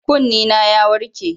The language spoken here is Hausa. Kunnena ya warke.